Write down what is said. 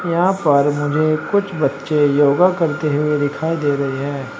यहां पर मुझे कुछ बच्चे योगा करते हुए दिखाई दे रहे हैं।